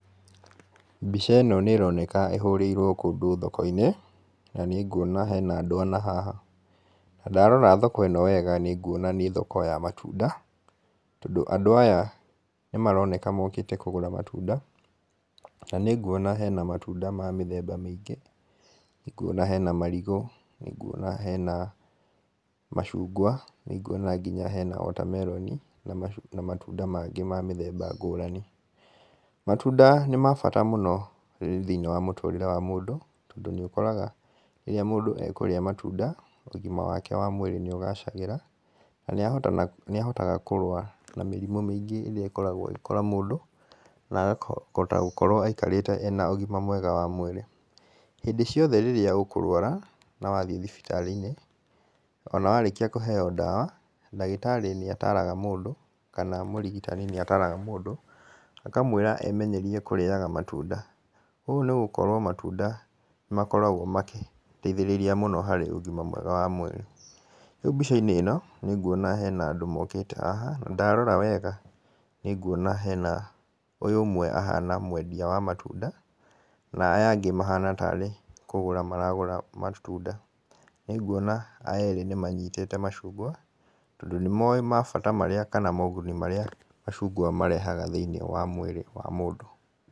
Mbica ĩno nĩĩroneka ĩhũrĩirwo kũndũ thoko-inĩ, na nĩnguona hena andũ ana haha. Na ndarora thoko ĩno wega nĩ nguona nĩ thoko ya matunda, tondũ andũ aya nĩmaroneka mokĩte kũgũra matunda. Na nĩ nguona hena matunda ma mĩthemba mĩingĩ, nĩnguona hena marigũ, nĩnguona hena macungwa, nĩnguona nginya hena wota meroni na matunda mangĩ ma mĩthemba ngũrani. Matunda nĩ mabata mũno thĩiniĩ wa mũtũrĩre wa mũndũ, tondũ nĩũkoraga rĩrĩa mũndũ ekurĩa matunda ũgima wake wa mwĩrĩ nĩũgacagĩra na nĩ ahotaga kũrũa na mĩrimũ mĩingĩ ĩrĩa ĩkoragwo ĩgĩkora mũndũ, na akahota gũkorwo aikarĩte arĩ na ũgima mwega wa mwĩrĩ. Hĩndĩ ciothe rĩrĩa ũkũrũara na wathiĩ thibitarĩ-inĩ ona warĩkia kũheyo ndawa ndagĩtarĩ nĩ ataraga mũndũ, kana mũrigitani nĩ ataraga mũndũ akamwĩra emenyerie kũrĩyaga matunda ũũ nĩ gũkorwo matunda nĩmakoragwo magĩteithĩrĩria mũno harĩ ũgima mwega wa mwĩrĩ. Rĩu mbica-inĩ ĩno nĩnguona hena andũ mokĩte haha. Na ndarora haha nĩ nguona hena, ũyũ ũmwe ahana ta mwendia wa matunda, na aya angĩ mahana ta arĩ kũgũra maragũra matunda. Nĩnguona aya erĩ nĩmanyitĩte macungwa, tondũ nĩmowĩ mabata marĩa kana moguni marĩa macungwa marehaga thĩiniĩ mũĩrĩ wa mũndũ.